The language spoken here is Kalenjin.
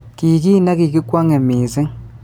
Kii ki nekikwongee missing